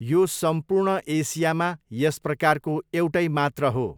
यो सम्पूर्ण एसियामा यस प्रकारको एउटै मात्र हो।